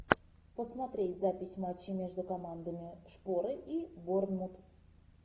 посмотреть запись матча между командами шпоры и борнмут